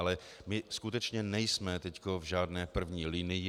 Ale my skutečně nejsme teď v žádné první linii.